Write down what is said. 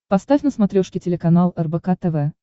поставь на смотрешке телеканал рбк тв